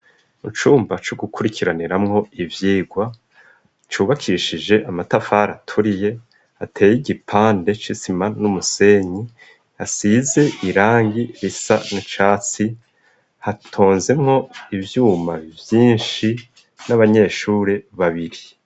Mu cumba co gukurikiraniramwo ivyigwa cubakishije amatafari aturiye ateye igipande c'isima n'umusenyi yasize irangi risa n'icatsi hatonzemwo ivyuma vyinshi n'abanyeshuri babiri.